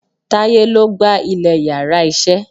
Táyé lo gba ilè íyarà iṣẹ